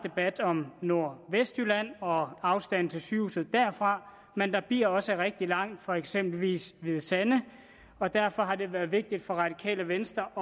om nordvestjylland og afstanden til sygehuset derfra men der bliver også rigtig langt fra eksempelvis hvide sande og derfor har det været vigtigt for radikale venstre